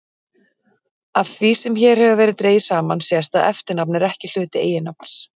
Af því sem hér hefur verið dregið saman sést að eftirnafn er ekki hluti eiginnafns.